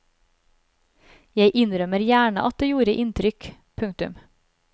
Jeg innrømmer gjerne at det gjorde inntrykk. punktum